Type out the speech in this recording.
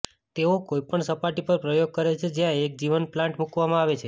તેઓ કોઈપણ સપાટી પર પ્રયોગ કરે છે જ્યાં એક જીવંત પ્લાન્ટ મૂકવામાં આવે છે